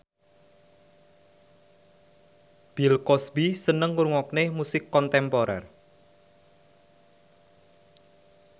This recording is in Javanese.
Bill Cosby seneng ngrungokne musik kontemporer